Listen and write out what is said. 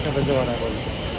Hər şey hazır olub.